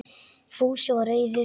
Fúsi var reiður.